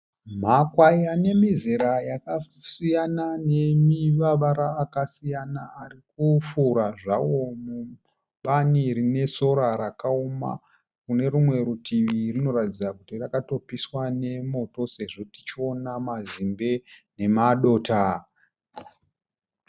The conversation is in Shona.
Makwayi anemizera yakasiyana nemavara akasiyana arikufura zvawo mubani rine sora rakauma kune rumwe rutivi kunoratidza kuti kwakatopiswa nemototo sezvo tichiona mazimbe nemadota.